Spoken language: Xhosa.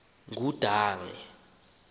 ngudange